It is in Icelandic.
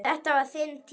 Þetta var þinn tími.